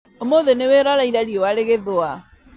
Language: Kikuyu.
ũmũthĩ nĩwĩroreire riũa rĩgĩthũa